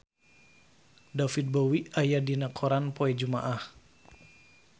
David Bowie aya dina koran poe Jumaah